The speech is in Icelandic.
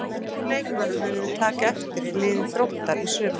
Hvaða ungu leikmönnum munum við taka eftir í liði Þróttar í sumar?